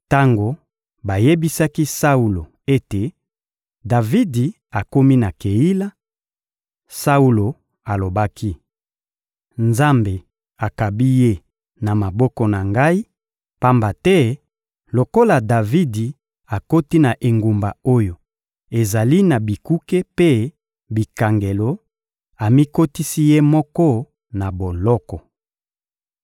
Tango bayebisaki Saulo ete Davidi akomi na Keila, Saulo alobaki: «Nzambe akabi ye na maboko na ngai, pamba te lokola Davidi akoti na engumba oyo ezali na bikuke mpe bikangelo, amikotisi ye moko na boloko.»